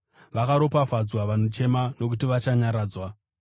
Vakaropafadzwa vanochema nokuti vachanyaradzwa.